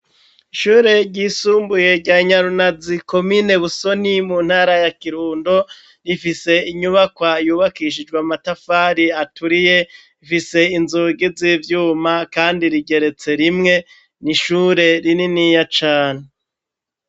Ishure ryisumbuye rya Nyarunazi komine busoni mu ntara ya Kirundo rifise inyubakwa yubakishijwe matafari aturiye ifise inzogizibyuma kandi rigeretse rimwe nishure rininiya cane.